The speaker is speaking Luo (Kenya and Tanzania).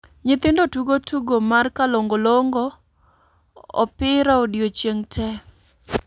Nyithindo tugo tugo mar "kalongolongo" opira odiechieng' te